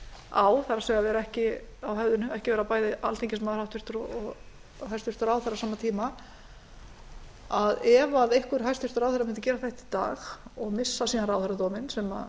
á höfðinu það er ekki vera bæði háttvirtur alþingismaður og hæstvirtur ráðherra á sama tíma ef einhver hæstvirtur ráðherra mundi gera þetta í dag og missa síðan ráðherradóminn sem